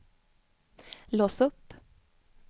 lås upp